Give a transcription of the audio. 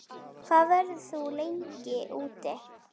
Hvað verður þú lengi úti?